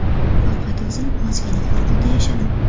Faqat o‘zim ozgina qo‘rquvda yashadim.